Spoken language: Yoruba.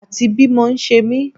Àti bí mọ ṣe mí